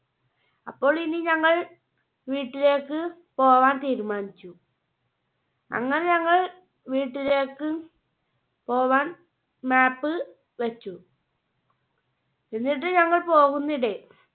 അപ്പോൾ ഇനി ഞങ്ങൾ വീട്ടിലേക്ക് പോകാൻ തീരുമാനിച്ചു. അങ്ങനെ ഞങ്ങൾ വീട്ടിലേക്ക് പോകാൻ Map വെച്ചു. എന്നിട്ട് ഞങ്ങൾ പോകുന്നിടെ